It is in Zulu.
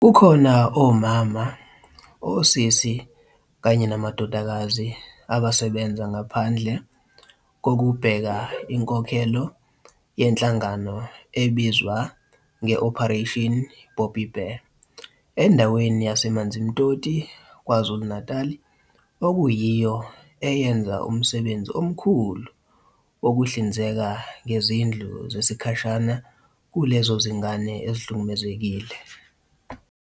Kukhona omama, osisi kanye namadodakazi abasebenza ngaphandle kokubheka inkokhelo yenhlangano ebizwa nge-Operation Bobbi Bear endaweni yaseManzimtoti KwaZulu-Natal okuyiyo eyenza umsebenzi omkhulu wokuhlinzeka ngezindlu zesikhashana kulezo zingane ezihlukumezekile.